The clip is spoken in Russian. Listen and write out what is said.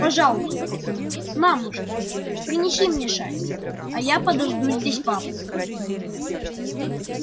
пожалуйста мамушка принеси мне шаль а я подожду здесь папу